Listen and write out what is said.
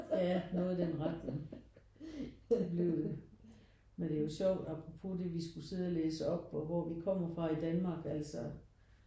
Ja noget i den retning. Det blev men det er jo sjovt apropos det vi skulle sidde og læse op og hvor vi kommer fra i Danmark altså